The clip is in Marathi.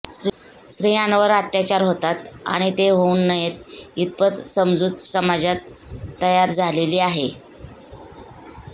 स्त्रियांवर अत्याचार होतात आणि ते होऊ नयेत इतपत समजूत समाजात तयार झालेली आहे